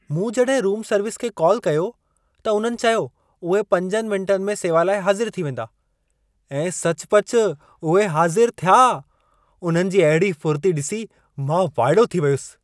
मूं जॾहिं room service खे कॉल कयो, त उन्हनि चयो उहे 5 मिंटनि में सेवा लाइ हाज़िर थी वेंदा ऐं सचुपचु उहे हाज़िर थिया। उन्हनि जी अहिड़ी फुर्ती ॾिसी मां वाइड़ो थी वियुसि।